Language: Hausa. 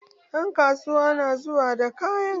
Ɗan kasuwan na zuwa da kayan.